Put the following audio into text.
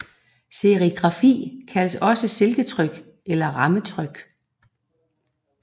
Serigrafi kaldes også silketryk eller rammetryk